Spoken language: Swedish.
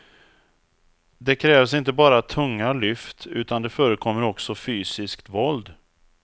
Det krävs inte bara tunga lyft utan det förekommer också fysiskt våld.